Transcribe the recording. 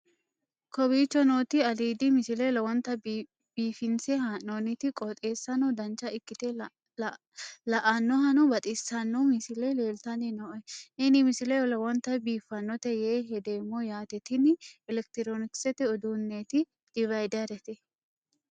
kowicho nooti aliidi misile lowonta biifinse haa'noonniti qooxeessano dancha ikkite la'annohano baxissanno misile leeltanni nooe ini misile lowonta biifffinnote yee hedeemmo yaate tini elekitiroonikisete uduunneeti divayderete